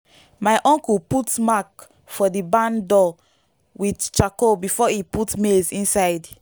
my uncle put mark for the barn door with charcoal before e put maize inside.